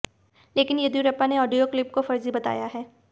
लेकिन येद्दयुरप्पा ने audio clip को फर्जी बताया है